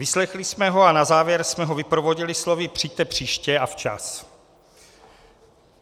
Vyslechli jsme ho a na závěr jsme ho vyprovodili slovy "přijďte příště a včas".